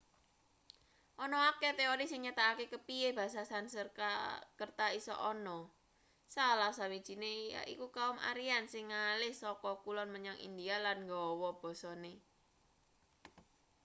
ana akeh teori sing nyatakake kepiye basa sanskerta iso ana salah sawijine yaiku kaum aryan sing ngalih saka kulon menyang india lan nggawa basane